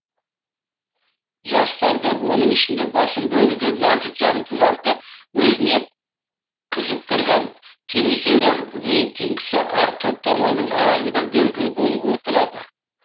жастарды оның ішінде басым бөлігі нәзік жандыларды өзіне қызықтырған телесериал рейтингісі әр топтаманың аяғында белгілі болып отырады